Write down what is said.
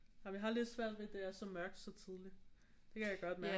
Vi har lidt svært ved at det er så mørkt så tidigt det kan jeg godt mærke